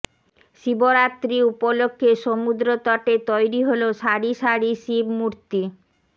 শিবরাত্রি উপলক্ষে সমুদ্র তটে তৈরি হল সারি সারি শিবমূর্তি